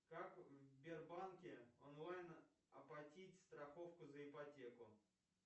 как в сбербанке онлайн оплатить страховку за ипотеку